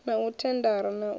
na u thendara na u